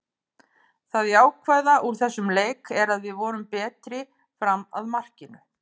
Það jákvæða úr þessum leik er að við vorum betri fram að markinu.